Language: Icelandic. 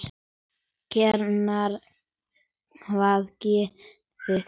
Karen: hvaða guði?